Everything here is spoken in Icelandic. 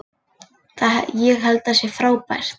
Ég held að það sé bara frábært.